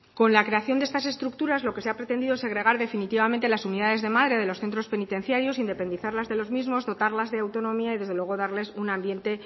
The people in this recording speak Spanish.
con la creación de estas estructuras lo que se ha pretendido es segregar definitivamente las unidades de madre de los centros penitenciarios independizarlas de los mismos dotarlas de autonomía y desde luego darles un ambiente